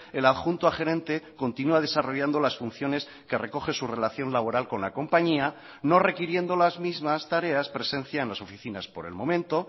el adjunto a gerente continúa desarrollando las funciones que recoge su relación laboral con la compañía no requiriendo las mismas tareas presencia en las oficinas por el momento